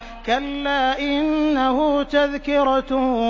كَلَّا إِنَّهُ تَذْكِرَةٌ